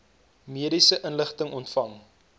mediese inligting ontvang